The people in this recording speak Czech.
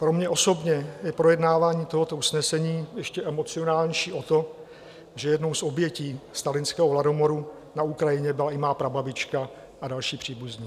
Pro mě osobně je projednávání tohoto usnesení ještě emocionálnější o to, že jednou z obětí stalinského hladomoru na Ukrajině byla i má prababička a další příbuzní.